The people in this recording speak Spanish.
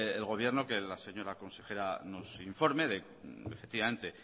el gobierno que la señora consejera nos informe efectivamente